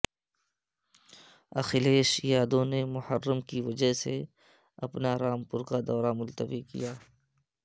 اکھلیش یادو نے محرم کی وجہ سے اپنا رامپور کا دورہ ملتوی کیا